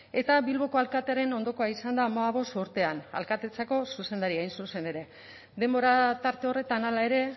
eta bilboko alkatearen ondokoa izan da hamabost urtean alkatetzako zuzendaria hain zuzen ere denbora tarte horretan hala ere